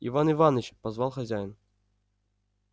иван иваныч позвал хозяин